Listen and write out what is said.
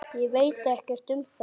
Ég veit ekkert um það?